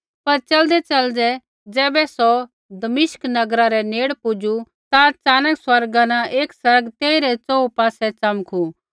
पर च़लदैच़लदै ज़ैबै सौ दमिश्क नगरा रै नेड़ पुजू ता च़ानक स्वर्गा न एक आसमान तेइरै च़ोहू पासै च़मकू